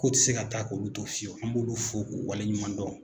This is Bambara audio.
Ko te se ka taa k'olu to fiyewu an b'olu fo k'u waleɲumandɔn